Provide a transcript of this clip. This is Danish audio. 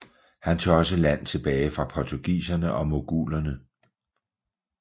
Han tog også land tilbage fra portugiserne og mogulerne